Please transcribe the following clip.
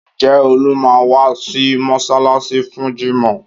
Ǹjẹ́ Olú máa wá sí mọ́ṣáláṣí fún jímọ̀?